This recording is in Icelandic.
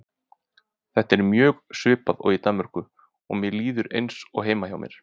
Þetta er mjög svipað og í Danmörku og mér líður eins og heima hjá mér.